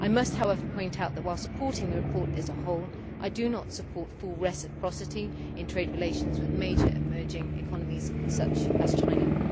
I must, however, point out that, whilst supporting the report as a whole, I do not support full reciprocity in trade relations with major emerging economies such as China.